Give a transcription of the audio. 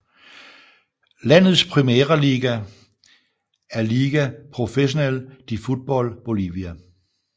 Landets primære liga er Liga Professional de Futbol Bolivia